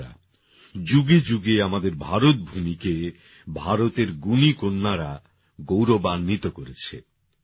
বন্ধুরা যুগে যুগে আমাদের ভারতভূমিকে ভারতের গুণী কন্যারা গৌরবান্বিত করেছে